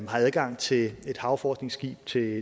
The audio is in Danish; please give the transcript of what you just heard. har adgang til et havforskningsskib til